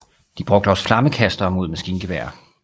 De brugte også flammekastere mod maskingeværer